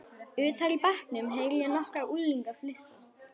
Utar í bekknum heyri ég nokkra unglinga flissa.